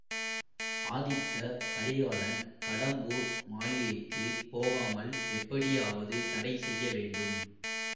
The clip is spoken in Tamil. ஆதித்த கரிகாலன் கடம்பூர் மாளிகைக்கு போகாமல் எப்படியாவது தடை செய்யவேண்டும்